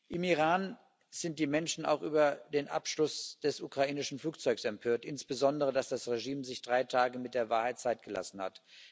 Im Iran sind die Menschen auch über den Abschuss des ukrainischen Flugzeugs empört, insbesondere darüber, dass das Regime sich drei Tage mit der Wahrheit Zeit gelassen hat.